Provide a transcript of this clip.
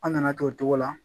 An nana kɛ o togo la